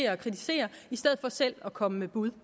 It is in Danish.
og kritiserer i stedet for selv at komme med bud